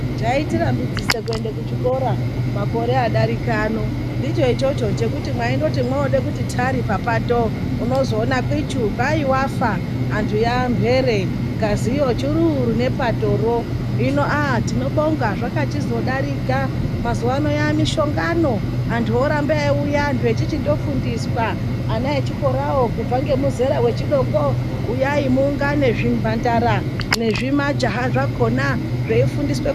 Chaitirambidzisa kuenda kuchikora makore adarika ano, ndicho ichocho chekuti mwaindoti mwooda kuti thari papato ,unozoona kwichu, kwai wafa Antu yaamhere ,ngaziyo chururu nepatoro .Hino aaah ,tinobonga zvakachizodarika, mazuwaano, yaamishongano, antu oramba eiuya antu echichindofundiswa, ana echikorawo kubva ngemuzera wechidoko, uyai muungane zvimhandara nezvimajaha zvakhona zveifundiswa.